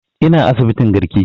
Ina asibitin garki